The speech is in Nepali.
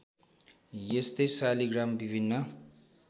यस्तै शालिग्राम विभिन्न